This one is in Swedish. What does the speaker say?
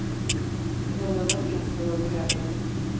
Grannarna finns när man behöver dem.